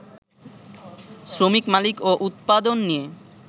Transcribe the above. শ্রমিক মালিক ও উৎপাদন নিয়ে